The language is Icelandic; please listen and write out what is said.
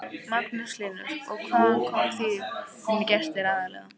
Magnús Hlynur: Og hvaðan koma þínir gestir aðallega?